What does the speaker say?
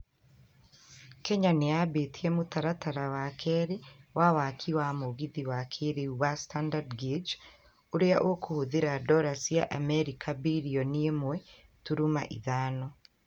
kenya nĩyambĩtie mũtaratara wa kerĩ wa waki wa mũgithi wa kĩrĩu wa standard guage ũrĩa ũkũhũthĩra dora cia Amerika bĩrioni ĩmwe turuma ithano